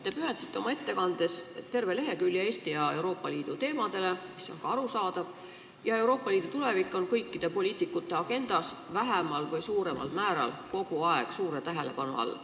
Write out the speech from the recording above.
Te pühendasite oma ettekandes terve lehekülje Eesti ja Euroopa Liidu teemadele – mis on ka arusaadav – ja Euroopa Liidu tulevik on kõikide poliitikute agendas vähemal või suuremal määral kogu aeg suure tähelepanu all.